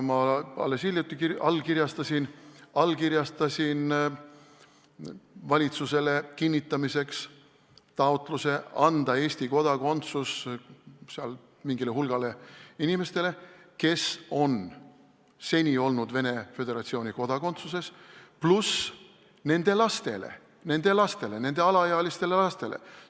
Ma alles hiljuti allkirjastasin valitsusele kinnitamiseks taotluse anda Eesti kodakondsus mingile hulgale inimestele, kes on seni olnud Venemaa Föderatsiooni kodakondsuses, pluss nende alaealistele lastele.